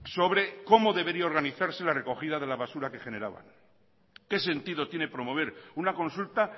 sobre cómo debería organizarse la recogida de la basura que generaban qué sentido tiene promover una consulta